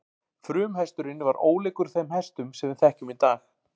Frumhesturinn var ólíkur þeim hestum sem við þekkjum í dag.